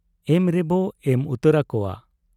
ᱮᱢ ᱨᱮᱵᱚ ᱮᱢ ᱟᱛᱟᱨ ᱟᱠᱚᱣᱟ ᱾